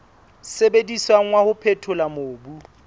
sebediswang wa ho phethola mobu